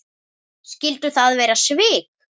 Skyldu það vera svik?